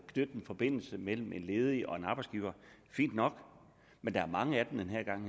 forbindelse mellem en ledig og en arbejdsgiver fint nok men der er mange af dem den her gang